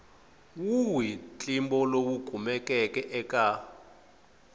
wihi ntlimbo lowu kumekaka eka